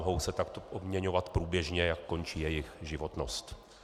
Mohou se tak obměňovat průběžně, jak končí jejich životnost.